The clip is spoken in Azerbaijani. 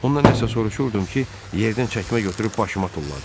Ondan nəsə soruşurdum ki, yerdən çəkmə götürüb başıma tulladı.